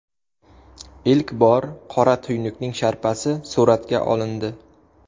Ilk bor qora tuynukning sharpasi suratga olindi.